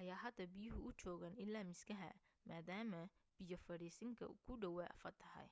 ayaa hadda biyuhu u joogaan ilaa miskaha maadaama biyo fadhiisinka ku dhawaa fatahay